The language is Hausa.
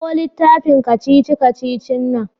Kawo littafin kacici-kacicin nan.